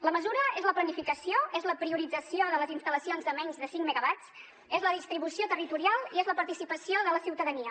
la mesura és la planificació és la priorització de les instal·lacions de menys de cinc megawatts és la distribució territorial i és la participació de la ciutadania